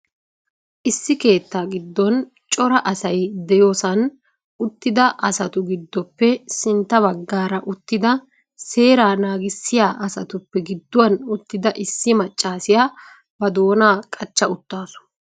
Issi keettaa giddon cora asay de'iyosan uttida astu giddoppe sintta baggara uttida seeraa naagissiya asatuppe gidduwan uttida issi maccassiya ba doonaa qachcha uttaasu.